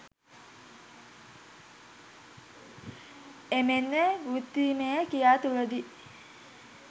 එමෙන්ම වෘත්තීයමය ක්‍රියා තුළදී